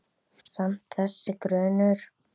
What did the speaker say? Samt- þessi grunur.